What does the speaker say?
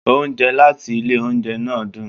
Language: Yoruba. Oúnjẹ láti ilé oúnjẹ náà dún.